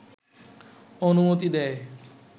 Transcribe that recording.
অনুমতি দেয়